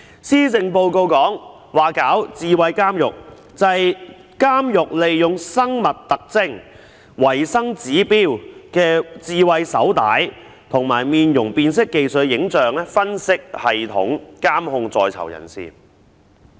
施政報告說要推行"智慧監獄"，就是指監獄利用生物特徵、維生指標的智慧手帶和採用面容辨識技術的影像分析系統，監控在囚人士。